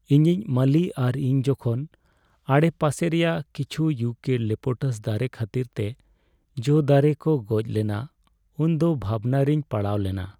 ᱤᱧᱤᱡ ᱢᱟᱹᱞᱤ ᱟᱨ ᱤᱧ ᱡᱚᱠᱷᱚᱱ ᱟᱰᱮᱯᱟᱥᱮ ᱨᱮᱭᱟᱜ ᱠᱤᱪᱷᱩ ᱤᱭᱩᱠᱮᱞᱤᱯᱴᱟᱥ ᱫᱟᱨᱮ ᱠᱷᱟᱹᱛᱤᱨᱛᱮ ᱡᱚ ᱫᱟᱨᱮ ᱠᱚ ᱜᱚᱡ ᱞᱮᱱᱟ ᱩᱱᱫᱚ ᱵᱷᱟᱵᱽᱱᱟᱨᱮᱧ ᱯᱟᱲᱟᱣᱞᱮᱱᱟ ᱾